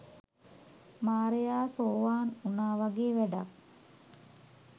මාරයා සෝවාන් වුනා වගේ වැඩක්.